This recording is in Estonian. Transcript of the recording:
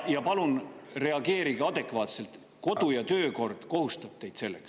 Ja palun reageerige adekvaatselt, kodu- ja töökord kohustab teid selleks.